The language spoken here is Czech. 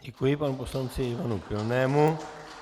Děkuji panu poslanci Ivanu Pilnému.